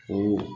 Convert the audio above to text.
O